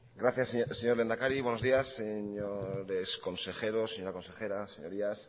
gracias señor lehendakari buenos días señores consejeros señora consejera señorías